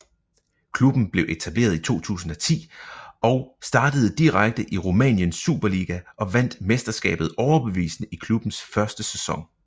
Klubben blev etableret i 2010 og startede direkte i Rumæniens Superliga og vandt mesterskabet overbevisende i klubbens første sæson